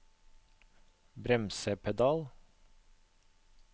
bremsepedal